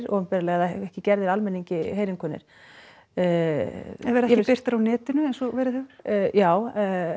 opinberlega eða ekki gerðir almenningi heyrinkunnir en verða ekki birtir á netinu eins og verið hefur já